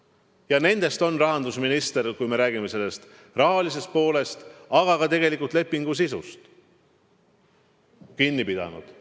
Ja sellest on rahandusminister, kui me räägime sellest rahalisest poolest, aga ka tegelikult lepingu sisust kinni pidanud.